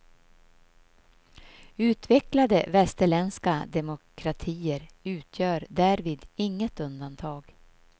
Utvecklade västerländska demokratier utgör därvid inget undantag.